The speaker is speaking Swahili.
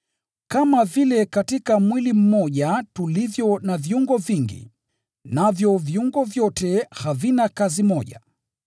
Kama vile katika mwili mmoja tulivyo na viungo vingi, navyo viungo vyote havina kazi moja,